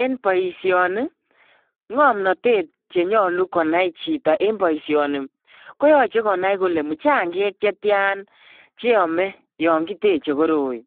En boisioni, ngomnatet chenyalu konai chito en boisioni koyoche konai kole muchangek chetian che yome yon kiteche koroi.